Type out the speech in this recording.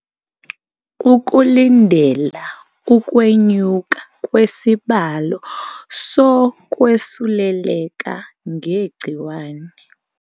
Ukulindela ukwe nyuka kwesibalo so kwesuleleka nge gciwane